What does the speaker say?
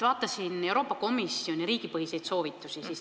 Vaatasin Euroopa Komisjoni riigipõhiseid soovitusi.